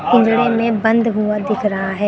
पिजड़े में बंद हुआ दिख रहा है।